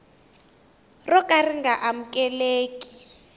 ro ka ri nga amukeleki